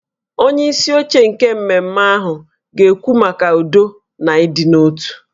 Onyeisi oche nke mmemme ahụ ga-ekwu maka udo na ịdị n'otu